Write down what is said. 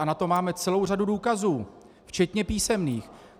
A na to máme celou řadu důkazů, včetně písemných.